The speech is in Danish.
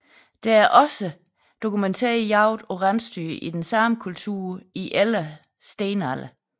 Der er også dokumenteret jagt på rensdyr i den samme kultur i ældre stenalder